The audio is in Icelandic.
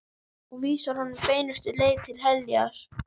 Og vísar honum beinustu leið til heljar.